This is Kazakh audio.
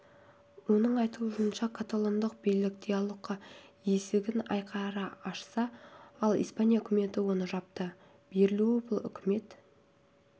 оның айтуынша каталондық билік диалогқа есігін айқара ашса ал испания үкіметі оны жапты берілу бұл үкімет